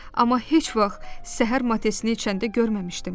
Amma heç vaxt səhər matesini içəndə görməmişdim.